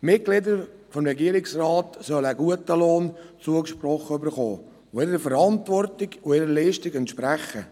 Mitgliedern des Regierungsrats soll ein guter Lohn zugesprochen werden, der ihrer Verantwortung und ihrer Leistung entspricht.